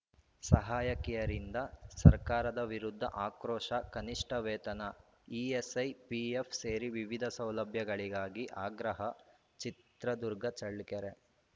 ಸಹಾಯಕಿಯರಿಂದ ಸರ್ಕಾರದ ವಿರುದ್ಧ ಆಕ್ರೋಶ ಕನಿಷ್ಠ ವೇತನ ಇಎಸ್‌ಐ ಪಿಎಫ್‌ ಸೇರಿ ವಿವಿಧ ಸೌಲಭ್ಯಗಳಿಗಾಗಿ ಆಗ್ರಹ ಚಿತ್ರದುರ್ಗ ಚಳ್ಳಕೆರೆ